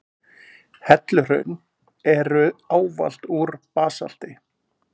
Helluhraun eru ávallt úr basalti.